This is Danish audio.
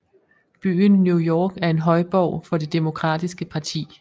Byen New York er en højborg for det demokratiske parti